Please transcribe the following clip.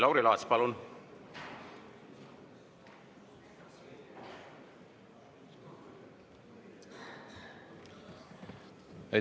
Lauri Laats, palun!